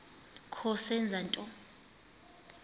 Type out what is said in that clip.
kho zenza nto